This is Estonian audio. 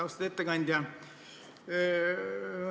Austatud ettekandja!